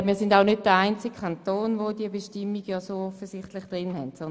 Wir sind offensichtlich auch nicht der einzige Kanton, der solche Bestimmungen kennt;